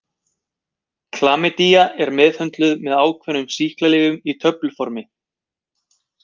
Klamydía er meðhöndluð með ákveðnum sýklalyfjum í töfluformi.